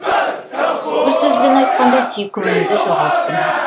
бір сөзбен айтқанда сүйкімімді жоғалттым